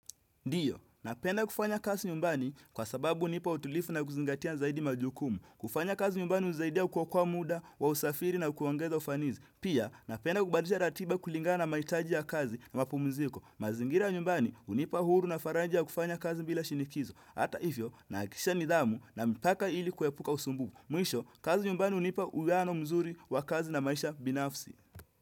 Ndio, napenda kufanya kazi nyumbani kwa sababu hunipa utulivu na kuzingatia zaidi majukumu. Kufanya kazi nyumbani hunisaidia kuokoa muda, wa usafiri na kuongeza ufanisi. Pia, napenda kubadilisha ratiba kulingana na mahitaji ya kazi na mapumziko. Mazingira nyumbani hunipa uhuru na faraja ya kufanya kazi bila shinikizo. Hata hivyo, nahakikisha nidhamu na mipaka ili kuepuka usumbufu. Mwisho, kazi nyumbani hunipa uwiano mzuri wa kazi na maisha binafsi.